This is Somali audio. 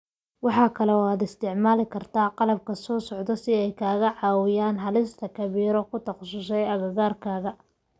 Waxa kale oo aad isticmaali kartaa qalabkan soo socda si ay kaaga caawiyaan helista khabiiro ku takhasusay agagaarkaaga.